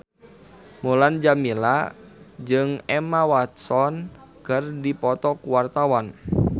Mulan Jameela jeung Emma Watson keur dipoto ku wartawan